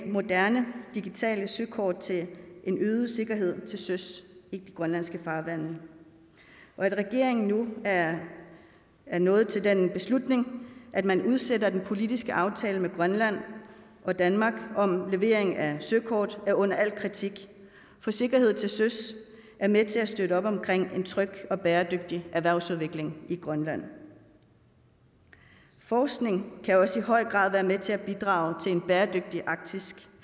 moderne digitale søkort til en øget sikkerhed til søs i de grønlandske farvande og at regeringen nu er er nået til den beslutning at man udsætter den politiske aftale mellem grønland og danmark om levering af søkort er under al kritik for sikkerhed til søs er med til at støtte op omkring en tryg og bæredygtig erhvervsudvikling i grønland forskning kan også i høj grad være med til at bidrage til en bæredygtig arktisk